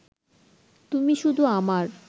তুমি শুধু আমার